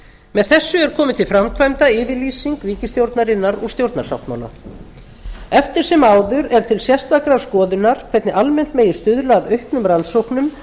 með þessu er komin til framkvæmda yfirlýsing ríkisstjórnarinnar úr stjórnarsáttmála eftir sem áður er til sérstakrar skoðunar hvernig almennt megi stuðla að auknum rannsóknum